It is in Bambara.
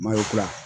Mayo kura ye